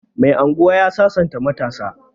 Mai unguwa ya sasanta matasa